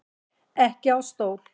Ekki á stól.